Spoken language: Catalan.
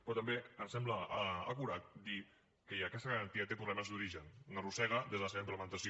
però també em sembla acurat dir que aquesta garantia té problemes d’origen n’arrossega des de la seva implementació